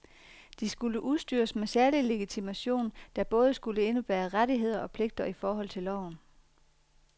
De skulle udstyres med særlig legitimation, der både skulle indebære rettigheder og pligter i forhold til loven.